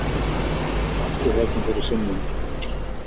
Hvað er í gangi þarna fyrir sunnan?